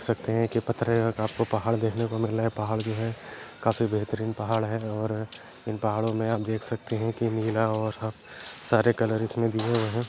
देख सकते हैं पथरे आपको पहाड़ देखने को मिल रहें हैं पहाड़ जो है काफी बेहतरीन पहाड़ हैं और इन पहाड़ों में आप देख सकते हैं कि नीला और सारे कलर इसमें दिये हुए हैं।